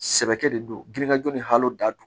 Sɛbɛkɛ de don girinkajɔ ni halo dadon